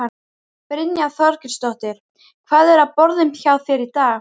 Brynja Þorgeirsdóttir: Hvað er á borðum hjá þér í dag?